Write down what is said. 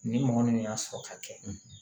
Ni mɔgɔ min y'a sɔrɔ ka kɛ